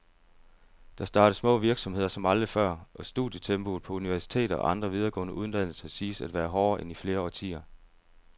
Der startes små virksomheder som aldrig før, og studietempoet på universiteter og andre videregående uddannelser siges at være hårdere end i flere årtier.